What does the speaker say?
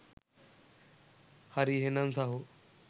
හරි එහෙනම් සහෝ